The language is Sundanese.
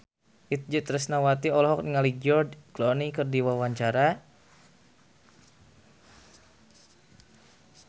Itje Tresnawati olohok ningali George Clooney keur diwawancara